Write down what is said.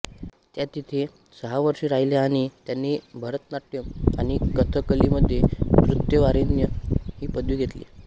त्या तेथे सहा वर्षे राहिल्या आणि त्यांनी भरतनाट्यम आणि कथकलीमध्ये नृत्यप्राविण्य ही पदवी घेतली